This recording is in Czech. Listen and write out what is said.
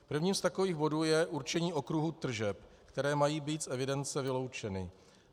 Prvním z takových bodů je určení okruhu tržeb, které mají být z evidence vyloučeny.